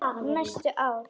Næstu ár.